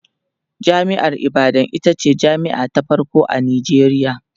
jami'ar ibadan itace jami'a ta farko a Nijeriya